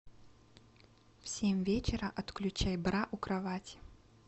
в семь вечера отключай бра у кровати